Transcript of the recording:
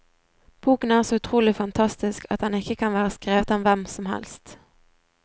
Boken er så utrolig fantastisk at den ikke kan være skrevet av hvem som helst.